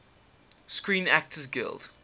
screen actors guild